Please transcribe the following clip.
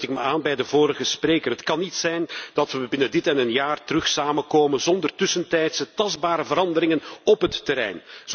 En op dit punt sluit ik me aan bij de vorige spreker. Het kan niet zijn dat we binnen dit en een jaar terug samen komen zonder tussentijdse, tastbare veranderingen op het terrein.